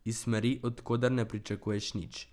Iz smeri, od koder ne pričakuješ nič.